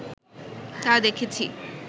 তা দেখেছি